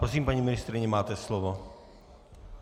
Prosím, paní ministryně, máte slovo.